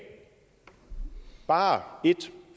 bare en